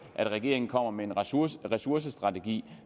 at regeringen kommer med en ressourcestrategi